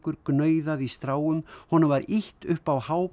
gnauðaði í stráum honum var ýtt upp á